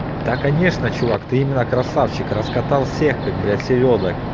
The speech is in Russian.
да конечно чувак ты именно красавчик раскатал всех как блять селёдок